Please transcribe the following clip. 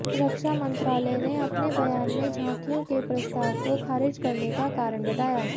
रक्षा मंत्रालय ने अपने बयान में झाकियों के प्रस्ताव को खारिज करने का कारण बताया